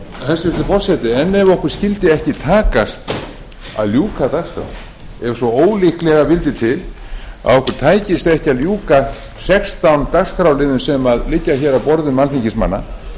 hæstvirtur forseti en ef okkur skyldi ekki takast að ljúka dagskrá ef svo ólíklega vildi til að okkur tækist ekki að ljúka sextán dagskrárliðum sem liggja á borðum alþingismanna